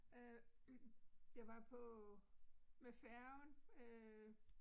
Øh jeg var på med færgen øh